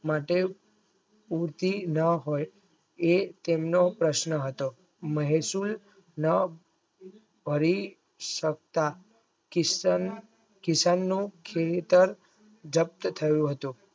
માટે ઉંધી ન હોય એ તેમનો પ્રશ્ન હતો મહેસીલ ન કરી સક કિસ્તાન કિસાનનું ખેતર જપ્ત થયું હતું.